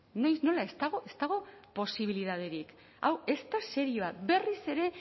noiz nola ez dago ez dago posibilitaterik hau ez da serioa berriz ere